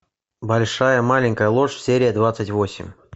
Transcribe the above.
большая маленькая ложь серия двадцать восемь